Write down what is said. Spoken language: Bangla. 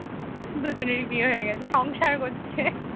দুজনেরই বিয়ে হয়ে গেছে সংসার করছে